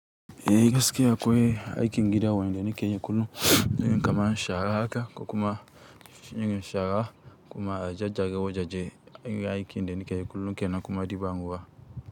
Eh, gaskiya akwai aikin gida wan da nike kullum, irinka man shara haka ko kuma irin shara kuma gyaggyara wajaje irin aikin da nikeyi kullum kenan kuma ɗiban ruwa.